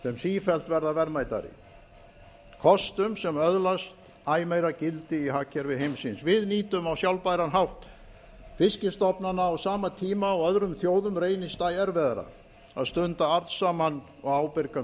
sem sífellt verða verðmætari kostum sem öðlast æ meira gildi í hagkerfi heimsins við nýtum á sjálfbæran hátt fiskstofna á sama tíma og öðrum þjóðum reynist æ erfiðara að stunda arðsaman og ábyrgan